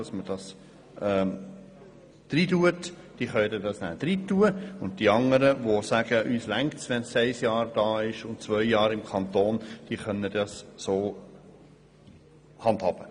Und die anderen Gemeinden, die sagen, dass es reicht, wenn ein Antragsteller ein Jahr bei ihnen wohnt und zwei Jahre im Kanton, sollen es so handhaben.